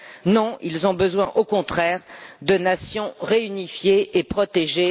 Non, ils ont besoin, au contraire, de nations réunifiées et protégées.